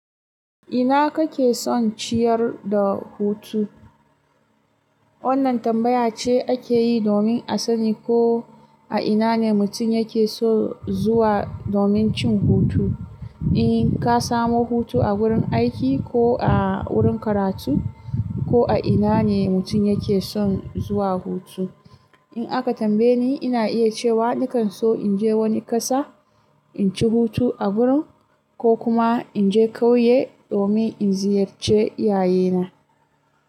Ina kake son ciyar da hutu? Wannan tambaya ce ake yi domin a sani ko a ina ne mutum yake so zuwa domin cin hutu. In ka samu hutu a wurin aiki ko a wurin karatu, ko a ina ne mutum yake son zuwa hutu. In aka tambaye ni, ina iya cewa nakan so in je wani ƙasa, in ci hutu a gurin, ko kuma in je kauye domin in ziyarci iyaye na.